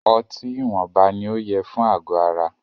Ọtí ìwọnba ní o yẹ fún àgọ ara.